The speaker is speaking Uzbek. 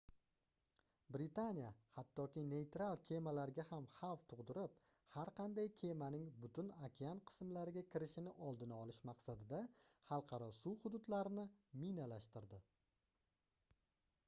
britaniya hattoki neyral kemalarga ham xavf tugʻdirib har qanday kemaning butun okean qismlariga kirishining oldini olish maqsadida xalqaro suv hududlarini minalashtirdi